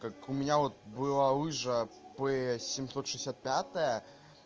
как у меня вот была лыжа п семьсот шестьдесят пятая